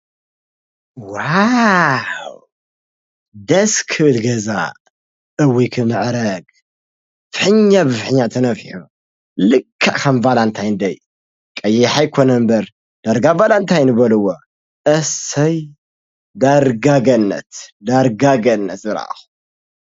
ዋውውውውውውውውውውውው! ደስ ክብል ገዛ! እውይ ክምዕርግ ከም ቫላታይ ዳይ ልክዕ ከም ቫላታይ በልዎ ። እሰይ! ዳርጋ ገነት ! ዳርጋ ገነት! ዝረኣኩ።